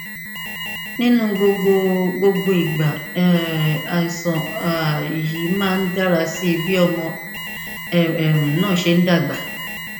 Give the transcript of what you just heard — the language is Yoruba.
nínú gbogbo gbogbo ìgbà um àìsàn um yìí máa ń dára sí i bí ọmọ um náà ṣe ń dàgbà